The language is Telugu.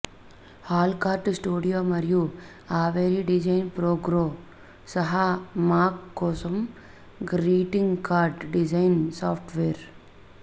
హాల్ కార్డు స్టూడియో మరియు అవేరి డిజైన్ ప్రోగ్రో సహా మాక్ కోసం గ్రీటింగ్ కార్డ్ డిజైన్ సాఫ్ట్వేర్